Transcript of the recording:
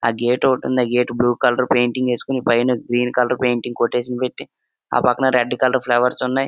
ఆ గేట్ ఒకటుంది. ఆ గెట్ బ్లూ కలర్ పెయింటింగ్ ఏసుకొని పైన గ్రీన్ కలర్ పెయింటింగ్ కొటేషన్ పెట్టి ఆ పక్కన రెడ్ కలర్ ఫ్లవర్స్ ఉన్నాయి.